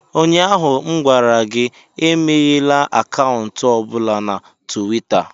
Ụnyaahụ m gwara gị, emeghela akaụntụ ọ bụla na Tuweeta!